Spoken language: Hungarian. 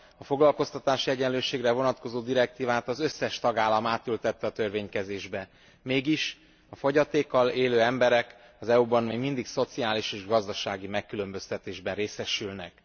A foglalkoztatási egyenlőségre vonatkozó direktívát az összes tagállam átültette a törvénykezésbe, mégis a fogyatékkal élő emberek az EU ban még mindig szociális és gazdasági megkülönböztetésben részesülnek.